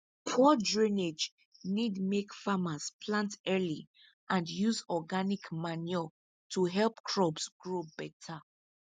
poor drainage need make farmers plant early and use organic manure to help crops grow better